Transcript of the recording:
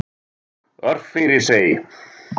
Örfirisey